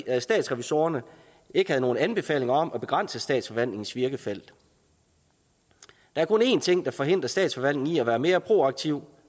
at statsrevisorerne ikke havde nogen anbefalinger om at begrænse statsforvaltningens virkefelt der er kun én ting der forhindrer statsforvaltningen i at være mere proaktiv